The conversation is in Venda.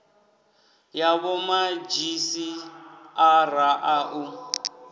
ya vhomadzhisi ara a u